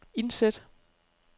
indsæt